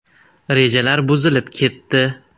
Rejalar buzilib ketdi.